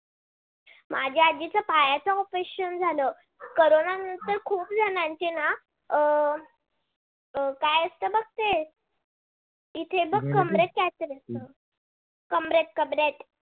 माझ्या आजीच पायाच operation झाल corona नंतर खूप जणांचे ना अं काय असत बघ ते इथे बघ कमरेत काहीतरी कमरेत कमरेत